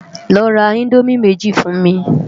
Lò rá Indómi méji fún mi